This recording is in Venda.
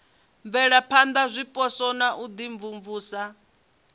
bvelaphana zwipotso na u imvumvusa